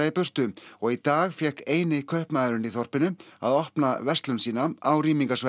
í burtu og í dag fékk eini kaupmaðurinn í þorpinu að opna verslun sína á